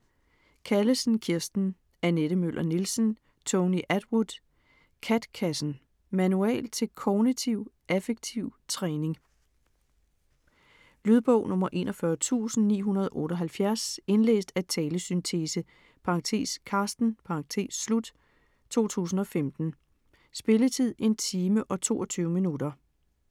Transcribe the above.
Callesen, Kirsten, Annette Møller Nielsen, Tony Attwood: KAT-kassen Manual til Kognitiv Affektiv Træning. Lydbog 41978 Indlæst af talesyntese (Carsten), 2015. Spilletid: 1 time, 22 minutter.